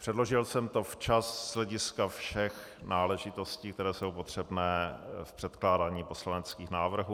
Předložil jsem to včas z hlediska všech náležitostí, které jsou potřebné v předkládání poslaneckých návrhů.